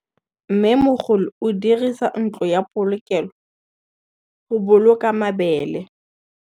Mmêmogolô o dirisa ntlo ya polokêlô, go boloka mabele.